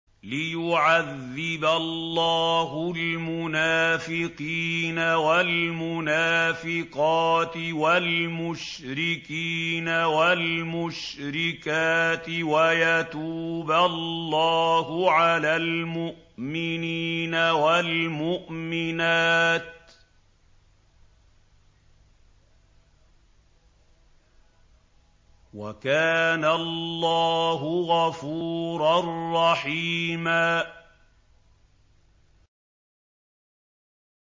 لِّيُعَذِّبَ اللَّهُ الْمُنَافِقِينَ وَالْمُنَافِقَاتِ وَالْمُشْرِكِينَ وَالْمُشْرِكَاتِ وَيَتُوبَ اللَّهُ عَلَى الْمُؤْمِنِينَ وَالْمُؤْمِنَاتِ ۗ وَكَانَ اللَّهُ غَفُورًا رَّحِيمًا